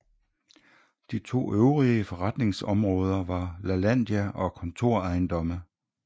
De to øvrige forretningsområder var Lalandia og Kontorejendomme